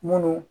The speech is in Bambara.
Munnu